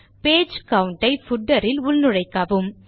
page count ஐ footer இல் உள்நுழைக்கவும்